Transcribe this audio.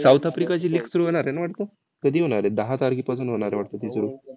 वीस